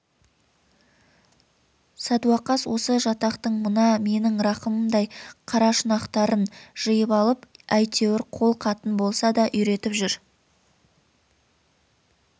садуақас осы жатақтың мына менің рахымымдай қарашұнақтарын жиып алып әйтеуір қол хатын болса да үйретіп жүр